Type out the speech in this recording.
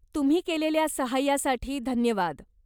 तुम्ही केलेल्या सहाय्यासाठी धन्यवाद.